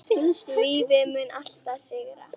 Lífið mun alltaf sigra.